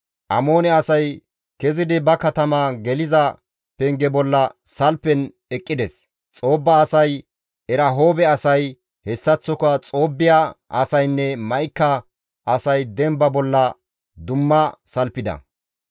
Amoone asay kezidi ba katama geliza penge bolla salfen eqqides; Xoobba asay, Erahoobe asay, hessaththoka Xoobbiya asaynne Ma7ika asay demba bolla dumma salfida.